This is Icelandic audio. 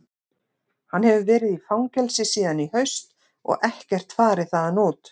Hann hefur verið í fangelsi síðan í haust og ekkert farið þaðan út.